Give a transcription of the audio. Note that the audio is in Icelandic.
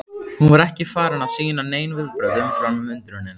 Hún var ekki farin að sýna nein viðbrögð umfram undrunina.